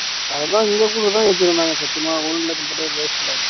அதெல்லாம் இங்க கூடதான் வச்சிருக்கோம் சத்தியமா